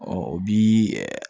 Ɔ o bi ɛ